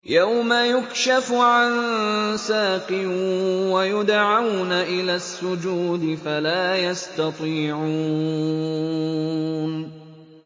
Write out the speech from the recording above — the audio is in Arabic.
يَوْمَ يُكْشَفُ عَن سَاقٍ وَيُدْعَوْنَ إِلَى السُّجُودِ فَلَا يَسْتَطِيعُونَ